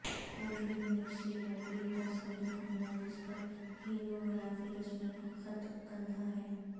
کوٹھڑی میں سے لکڑی کا صندوق ملا جس پر ہیروغلافی رسم الخط کندہ ہے